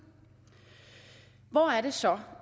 hvor er det så